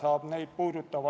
Tänan!